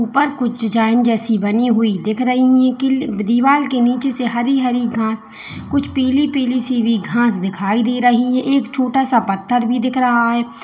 और कुछ डिजाइन जैसे बनी हुई दिख रही हैं कि दीवाल के नीचे से हरी हरी घास कुछ पीली पीली सी भी घास दिखाई दे रही है एक छोटा सा पत्थर भी दिख रहा है।